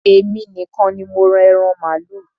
Èmi nìkan ní mo ra ẹran màálù.